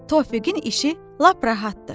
Tofiqin işi lap rahatdır.